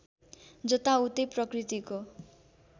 जता उतै प्रकृतिको